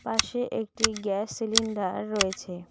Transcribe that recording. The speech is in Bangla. পাশে একটি গ্যাস সিলিন্ডার রয়েছে।